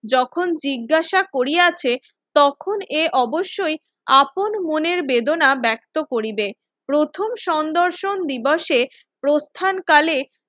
যখন জিজ্ঞাসা করিয়াছে তখন এ অবশ্যই আপন মনের বেদনা ব্যাক্ত করিবে প্রথম সন্দর্শন দিবসে প্রথান কালে